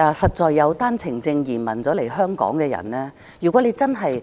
如果以單程證移民來港的人真的